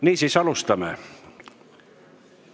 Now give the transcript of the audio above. Niisiis, alustame.